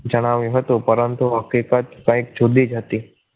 જણાવ્યું હતું પરંતુ હકીકત કંઈક જુદી જ હતી